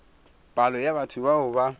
palo ya batho bao ba